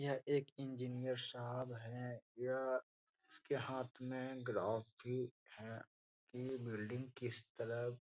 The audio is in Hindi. यह एक इंजीनियर साहब है यह इसके हाथ में ग्राफ कि है कि ये बिल्डिंग किस तरह --